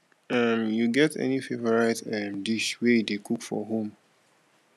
um you get any favorite um dish wey you dey cook for home